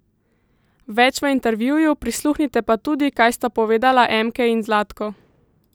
Več v intervjuju, prisluhnite pa tudi, kaj sta povedala Emkej in Zlatko!